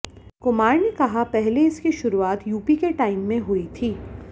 कुमार ने कहा पहले इसकी शुरूआत यूपी के टाइम में हुई थी